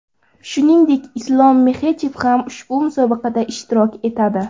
Shuningdek, Islom Maxachev ham ushbu musobaqada ishtirok etadi.